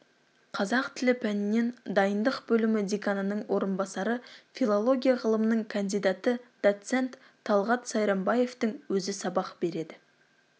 қазақ тілі пәнінен дайындық бөлімі деканының орынбасары филология ғылымының кандидаты доцент талғат сайрамбаевтың өзі сабақ береді